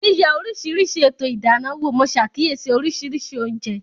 Yíyẹ oríṣiríṣi ètò ìdáná wò, mo ṣàkíyèsí oríṣiríṣi oúnjẹ